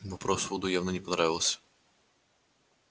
вопрос вуду явно не понравился